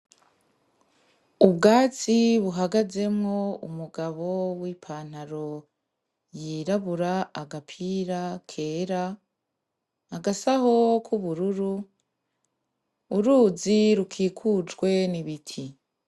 Ubwatsi buhagazemwo umugabo w’ipantaro yirabura, agapira kera, agasaho k’ubururu , uruzi rukikujwe n’ibiti.